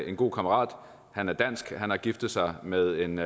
en god kammerat han er dansk og han har giftet sig med en